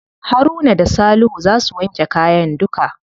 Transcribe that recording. Haruna da salihu za su wanke kayan duka.